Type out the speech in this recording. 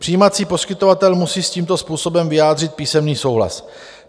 Přijímající poskytovatel musí s tímto způsobem vyjádřit písemný souhlas.